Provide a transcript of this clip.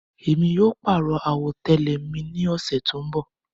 Mo máa pàrọ̀ àwọ̀tẹ́lẹ̀ mi ní ọ̀sẹ́ tó ń bọ̀.